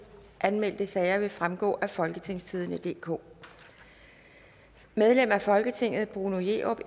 anmeldte sager vil fremgå af folketingstidende DK medlem af folketinget bruno jerup